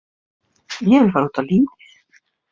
Ég vil fara út á lífið.